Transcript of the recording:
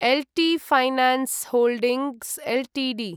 एल्टि finance holdings Ltd